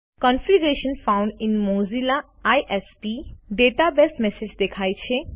configuration found in Mozilla ISP database message દેખાય છે